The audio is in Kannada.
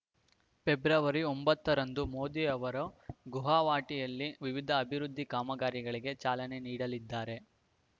ಫೆಬ್ರವರಿ ಒಂಬತ್ತರಂದು ಮೋದಿ ಅವರು ಗುಹವಾಟಿಯಲ್ಲಿ ವಿವಿಧ ಅಭಿವೃದ್ಧಿ ಕಾಮಗಾರಿಗಳಿಗೆ ಚಾಲನೆ ನೀಡಲಿದ್ದಾರೆ